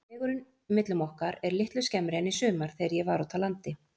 Vegurinn millum okkar er litlu skemmri en í sumar, þegar ég var úti á landi.